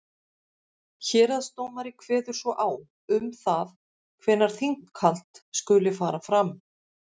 Héraðsdómari kveður svo á um það hvenær þinghald skuli fara fram.